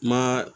Ma